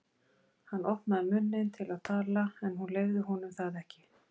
Hann opnaði munninn til að tala en hún leyfði honum það ekki.